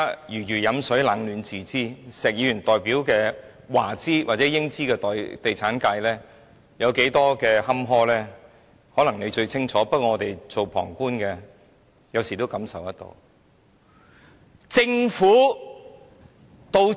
如魚飲水，冷暖自知，石議員代表的華資或英資地產界有多坎坷，他最清楚，不過我們身為旁觀者也感受得到。